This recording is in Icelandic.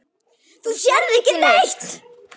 Þú sérð ekki neitt!